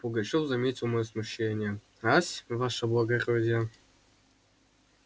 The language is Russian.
пугачёв заметил моё смущение ась ваше благородие